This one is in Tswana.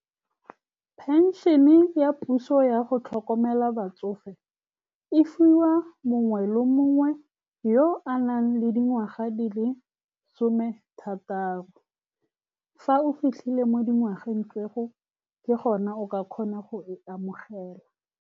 Pension-e ya puso ya go tlhokomela batsofe e fiwa mongwe le mongwe yo o nang le dingwaga di le some thataro. Fa o fitlhile mo dingwageng tseo, ke gone o ka kgona go e amogela.